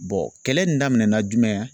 kɛlɛ in daminɛna jumɛn